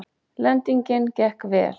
Lendingin gekk vel